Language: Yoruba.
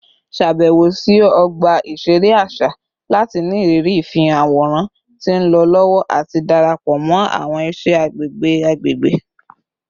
Ṣabẹwo si ọgba iṣere aṣa lati ni iriri ifihan aworan ti nlọ lọwọ ati darapọ mọ awọn iṣẹ agbegbe agbegbe